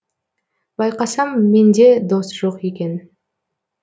байқасам менде дос жоқ екен